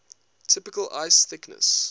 typical ice thickness